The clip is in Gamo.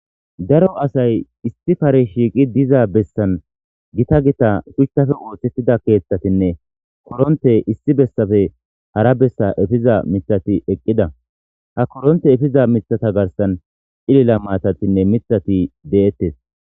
Daro asayi issi Karen shiqqi dizza bessan gita gita shuchappe oththetida keththayinne koronttey issi bessappe hara bessa eppiza miththati eqqida ha korronte eppiza miththa garsan cilila matatinne miththati de'etes.